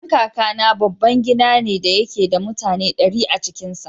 Gidan Kakana babban gida ne da yake da mutane ɗari a cikin sa.